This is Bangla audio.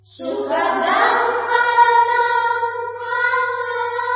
সুখদাং বরদাং মাতরম